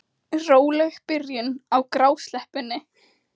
Róleg byrjun á grásleppunni